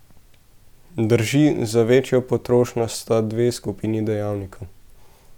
Drži, za večjo potrošnjo sta dve skupini dejavnikov.